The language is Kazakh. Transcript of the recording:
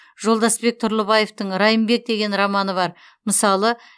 жолдасбек тұрлыбаевтың райымбек деген романы бар мысалы